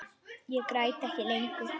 Ég græt ekki lengur.